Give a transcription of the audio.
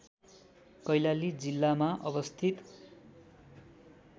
कैलाली जिल्लामा अवस्थित